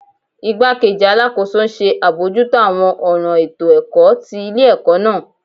Igbakeji Alakoso nṣe abojuto awọn ọran eto-ẹkọ ti ile-ẹkọ naa